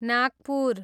Nagpur